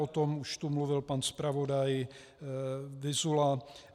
O tom už tu mluvil pan zpravodaj Vyzula.